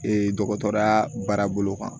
dɔgɔtɔrɔya baara bolo kan